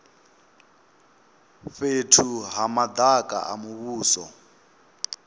fhethu ha madaka a muvhuso